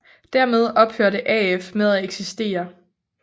Dermed ophørte AF med at eksistere